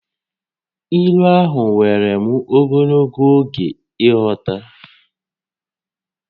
Ílú ahụ wèrè m ogologo oge ịghọta